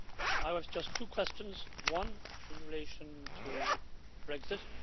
I have just two questions, one in relation to Brexit.